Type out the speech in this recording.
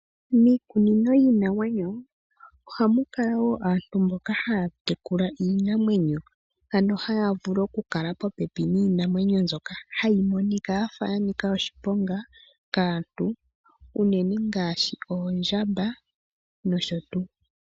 Miikunino yiinamwenyo ohamu kala wo aantu mboka haya tekula iinamwenyo ano haya vulu oku kala popepi niinamwenyo mbyoka hayi monika yafa yanika oshiponga kaantu unene ngaashi oondjamba nosho tuu.